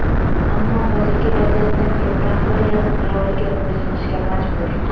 Ammo hozirgi vaziyatda klub rahbariyati qaroriga bo‘ysunishga majbur.